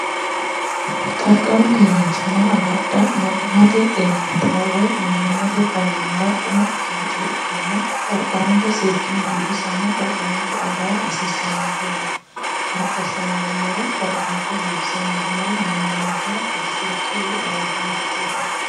qarqaru keeraanchimma agadha mannimmate xeeninnatira woy mannimmate faayyimmara umo ikkino coye ikkanna qarqaranke seekkini biifisanna qarqaranke agara hasiissannonke yaate haattassa hongummoro qarqaranke biifisa hongummoro mannimmankira bushurchi woy gawaajjanorichi illanno.